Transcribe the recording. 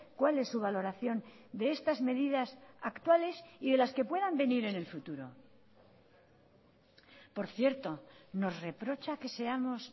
cuál es su valoración de estas medidas actuales y de las que puedan venir en el futuro por cierto nos reprocha que seamos